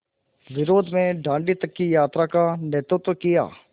विरोध में दाँडी तक की यात्रा का नेतृत्व किया